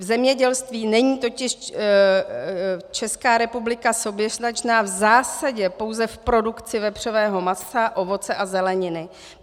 V zemědělství není totiž Česká republika soběstačná v zásadě pouze v produkci vepřového masa, ovoce a zeleniny.